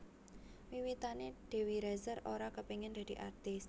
Wiwitané Dewi Rezer ora kepengin dadi artis